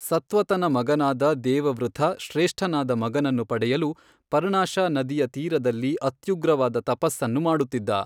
ಸತ್ವತನ ಮಗನಾದ ದೇವವೃಥ ಶ್ರೇಷ್ಠನಾದ ಮಗನನ್ನು ಪಡೆಯಲು ಪರ್ಣಾಶಾ ನದಿಯ ತೀರದಲ್ಲಿ ಅತ್ಯುಗ್ರವಾದ ತಪಸ್ಸನ್ನು ಮಾಡುತ್ತಿದ್ದ.